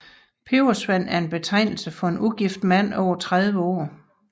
Pebersvend er en betegnelse for en ugift mand over 30 år